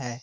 हैं